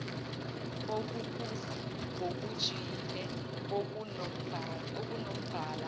okuphuzi ngokujiyile okunombala